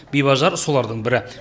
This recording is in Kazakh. бибіажар солардың бірі